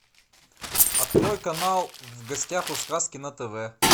открой канал в гостях у сказки на тв